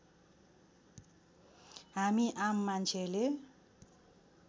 हामी आम मान्छेले